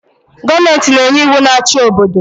Goomenti na-enye iwu na achi obodo